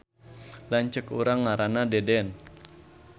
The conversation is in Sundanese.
Lanceuk urang ngaranna Deden